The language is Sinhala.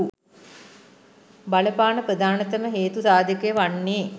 බලපාන ප්‍රධානතම හේතු සාධකය වන්නේ